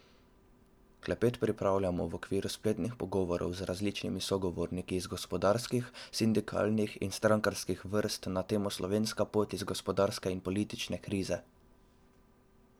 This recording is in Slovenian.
Klepet pripravljamo v okviru spletnih pogovorov z različnimi sogovorniki iz gospodarskih, sindikalnih in strankarskih vrst na temo Slovenska pot iz gospodarske in politične krize.